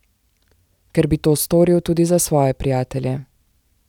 Ker bi to storil tudi za svoje prijatelje.